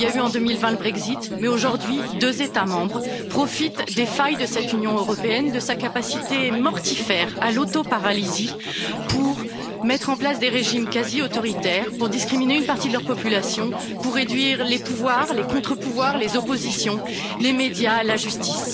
En 2020, il y a eu le Brexit. Mais aujourd'hui, deux États membres profitent des failles de cette Union européenne, de sa capacité mortifère à l'autoparalysie pour mettre en place des régimes quasi autoritaires, pour discriminer une partie de leur population, pour réduire les pouvoirs, les contre pouvoirs, les oppositions, les médias, la justice.